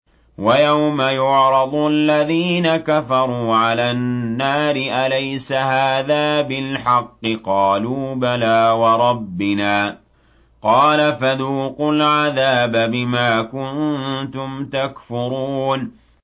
وَيَوْمَ يُعْرَضُ الَّذِينَ كَفَرُوا عَلَى النَّارِ أَلَيْسَ هَٰذَا بِالْحَقِّ ۖ قَالُوا بَلَىٰ وَرَبِّنَا ۚ قَالَ فَذُوقُوا الْعَذَابَ بِمَا كُنتُمْ تَكْفُرُونَ